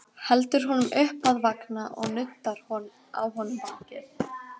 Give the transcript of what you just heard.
Heldur honum upp að vanga og nuddar á honum bakið.